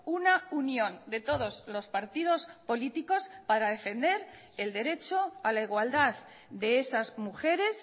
una unión de todos los partidos políticos para defender el derecho a la igualdad de esas mujeres